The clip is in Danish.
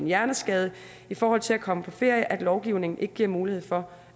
hjerneskade i forhold til det at komme på ferie at lovgivningen ikke giver mulighed for